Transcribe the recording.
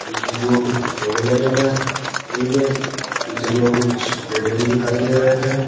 पिछे की ओर कुछ पोले लगे हैं पोल के पीछे की ओर कुछ पेड़े दिखाई दे रहे है।